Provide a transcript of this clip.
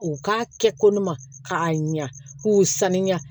U k'a kɛ ko ne ma k'a ɲa k'u sanuya